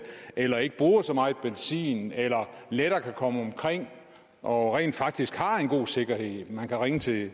eller ikke bruger så meget benzin eller lettere kan komme omkring og rent faktisk har en god sikkerhed man kan ringe til